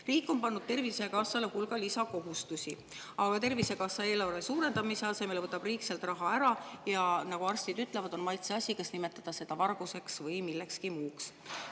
Riik on pannud Tervisekassale hulga lisakohustusi, aga Tervisekassa eelarve suurendamise asemel võtab riik sealt raha ära, ja nagu arstid ütlevad, on maitse asi, kas nimetada seda varguseks või millekski muuks.